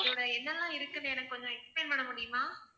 அதோட என்னலாம் இருக்குன்னு எனக்கு கொஞ்சம் explain பண்ண முடியுமா?